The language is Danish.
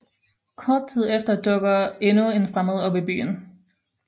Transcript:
Kort tid efter dukker endnu en fremmed op i byen